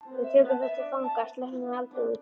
Við tökum þá til fanga. sleppum þeim aldrei út.